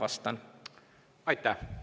Aitäh!